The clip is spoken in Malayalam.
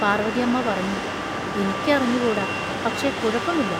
പാർവതിയമ്മ പറഞ്ഞു: എനിക്കറിഞ്ഞുകൂടാ, പക്ഷെ കുഴപ്പമില്ല.